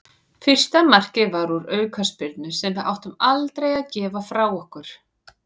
Fyrsta markið var úr aukaspyrnu sem við áttum aldrei að gefa frá okkur.